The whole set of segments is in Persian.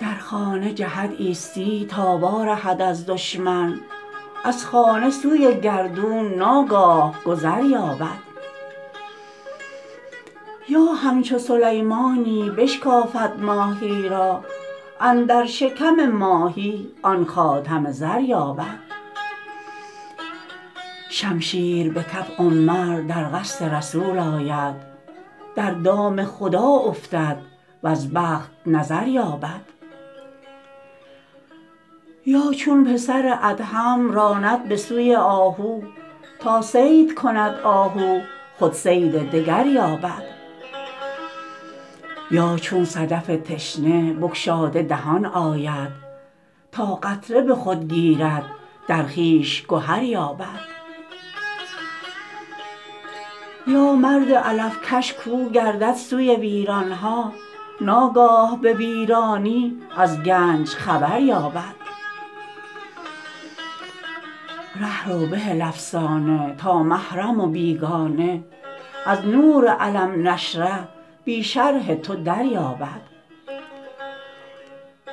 در خانه جهد عیسی تا وارهد از دشمن از خانه سوی گردون ناگاه گذر یابد یا همچو سلیمانی بشکافد ماهی را اندر شکم ماهی آن خاتم زر یابد شمشیر به کف عمر در قصد رسول آید در دام خدا افتد وز بخت نظر یابد یا چون پسر ادهم راند به سوی آهو تا صید کند آهو خود صید دگر یابد یا چون صدف تشنه بگشاده دهان آید تا قطره به خود گیرد در خویش گهر یابد یا مرد علف کش کاو گردد سوی ویران ها ناگاه به ویرانی از گنج خبر یابد ره رو بهل افسانه تا محرم و بیگانه از نور الم نشرح بی شرح تو دریابد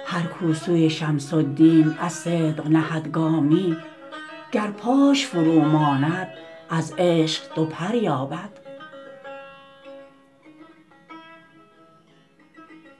هر کاو سوی شمس الدین از صدق نهد گامی گر پاش فروماند از عشق دو پر یابد